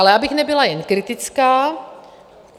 Ale abych nebyla jenom kritická.